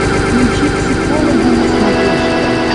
включи психологи на смотрешке